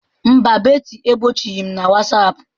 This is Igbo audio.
Mba, Betty egbochighị m na Whatsapp.